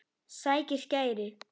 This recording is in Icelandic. Sækir skæri.